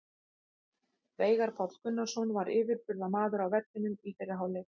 Veigar Páll Gunnarsson var yfirburðamaður á vellinum í fyrri hálfleik.